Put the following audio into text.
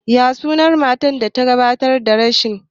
Ya sunan matar da ta gabatar da shirin?